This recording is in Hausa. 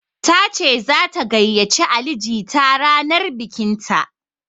Tace zata gayyace Ali jita ranar bikinta.